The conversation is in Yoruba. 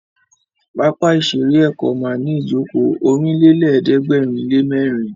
Pápá ìṣeré Èkó ma ní ìjókòó Ọ̀rìnlélẹ̀ẹ́dẹ́gbèrinlémẹ́rin